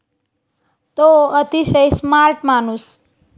तो अतिशय स्मार्ट माणूस.